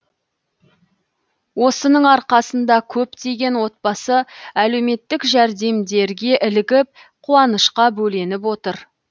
осының арқасында көптеген отбасы әлеуметтік жәрдемдерге ілігіп қуанышқа бөленіп отыр